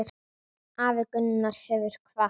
Afi Gunnar hefur kvatt.